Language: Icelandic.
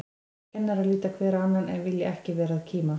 Kennarar líta hver á annan, en vilja ekki vera að kíma.